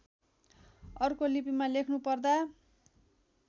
अर्को लिपिमा लेख्नुपर्दा